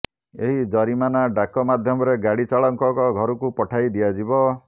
ଏହି ଜରିମାନା ଡାକ ମାଧ୍ୟମରେ ଗାଡ଼ି ଚାଳକଙ୍କ ଘରକୁ ପଠାଇ ଦିଆଯିବ